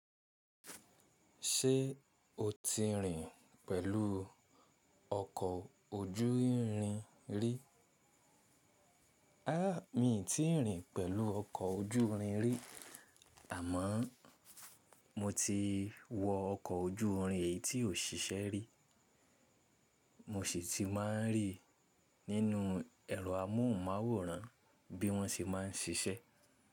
Ṣé o ti rìn pẹ̀lú ọkọ̀ ojú irin rí? A, mi ò tíì rìn pẹ̀lú ọkọ̀ ojúrin rí àmọ́ọ mo ti wọ ọkọ̀ ojúrin èyí tí ò ṣiṣẹ́ rí. Mo sì ti máa ń rí nínú ẹ̀rọ amóhùnmáwòrán bí wọ́n ṣe máa ń ṣiṣẹ́.